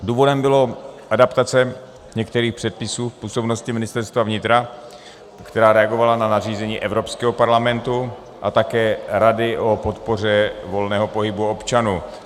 Důvodem byla adaptace některých předpisů v působnosti Ministerstva vnitra, která reagovala na nařízení Evropského parlamentu a také Rady o podpoře volného pohybu občanů.